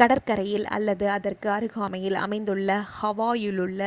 கடற்கரையில் அல்லது அதற்கு அருகாமையில் அமைந்துள்ள ஹவாயிலுள்ள